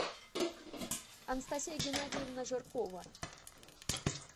анастасия геннадиевна жиркова